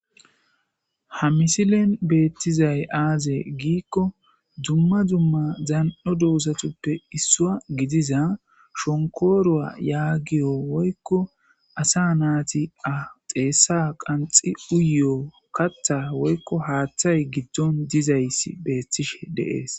ha misilen beettizay aaze giikko dumma dumma zan7o duusatuppe issua gidiza shonkoruwa yaagiyo woykko asa naati a xeessa qanxi uyo kattha woykko haaththay giddon dizay beettishe deees